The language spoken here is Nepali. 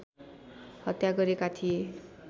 हत्या गरेका थिए